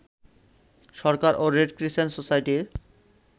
সরকার ও red crescent সোসাইটির